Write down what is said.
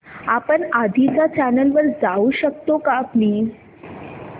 आपण आधीच्या चॅनल वर जाऊ शकतो का प्लीज